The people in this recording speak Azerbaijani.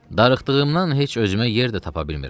Darıxdığımdan heç özümə yer də tapa bilmirəm.